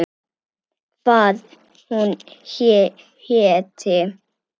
Hvað hún héti.